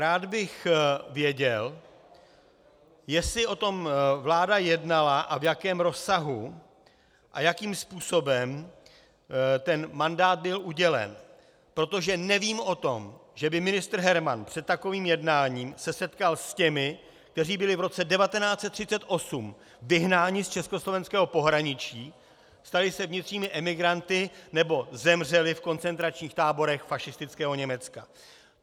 Rád bych věděl, jestli o tom vláda jednala a v jakém rozsahu, a jakým způsobem ten mandát byl udělen, protože nevím o tom, že by ministr Herman před takovým jednáním se setkal s těmi, kteří byli v roce 1938 vyhnáni z československého pohraničí, stali se vnitřními emigranty nebo zemřeli v koncentračních táborech fašistického Německa.